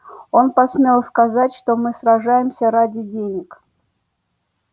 он посмел сказать что мы сражаемся ради денег